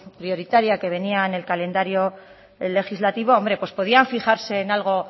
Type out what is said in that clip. prioritaria que venía en el calendario legislativo hombre pues podían fijarse en algo